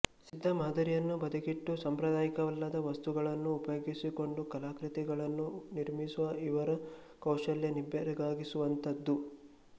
ಸಿದ್ಧ ಮಾದರಿಯನ್ನು ಬದಿಗಿಟ್ಟು ಸಾಂಪ್ರದಾಯಿಕವಲ್ಲದ ವಸ್ತುಗಳನ್ನು ಉಪಯೋಗಿಸಿಕೊಂಡು ಕಲಾಕೃತಿಗಳನ್ನು ನಿರ್ಮಿಸುವ ಇವರ ಕೌಶಲ್ಯ ನಿಬ್ಬೆರಗಾಗಿಸುವಂಥದ್ದು